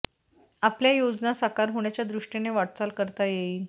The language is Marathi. आपल्या योजना साकार होण्याच्या दृष्टीने वाटचाल करता येईल